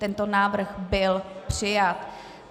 Tento návrh byl přijat.